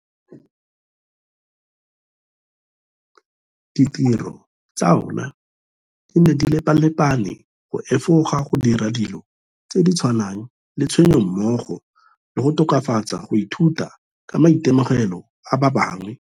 Ditiro tsa ona di ne di lepalepane go efoga go dira dilo tse di tshwanang le tshenyo mmogo le go tokafatsa go ithuta ka maitemogelo a ba bangwe.